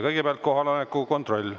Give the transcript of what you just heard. Kõigepealt kohaloleku kontroll.